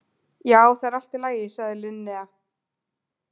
Já, það er allt í lagi, sagði Linnea.